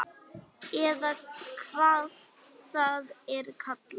Eða hvað það er kallað.